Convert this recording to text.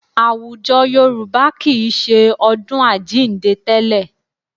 Àwùjọ Yorùbá kì í ṣe ọdún Àjíǹde tẹ́lẹ̀.